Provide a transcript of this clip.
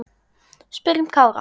Spyrjum Kára.